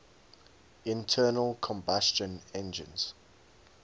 internal combustion engines